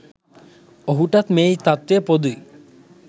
ඔහුටත් මේ තත්ත්වය පොදුයි.